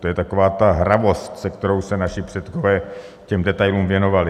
To je taková ta hravost, se kterou se naši předkové těm detailům věnovali.